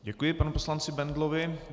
Děkuji panu poslanci Bendlovi.